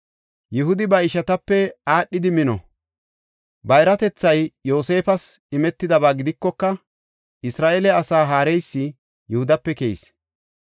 Yihudi ba ishatape aadhidi mino; bayratethay Yoosefas imetidaba gidikoka, Isra7eele asaa haareysi Yihudape keyis.